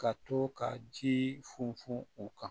Ka to ka ji funfun u kan